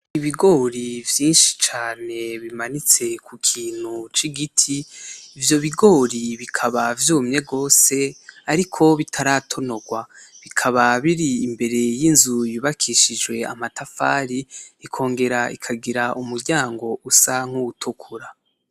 Ibigori vyinshi cane bimanitse kukintu c'igiti, ivyo bigori bikaba vyumye gose ariko bitaratonorwa, bikaba biri imbere y'inzu yubakishijwe amatafari bikongera ikongera ikagira umuryango usa nk'uwutukura.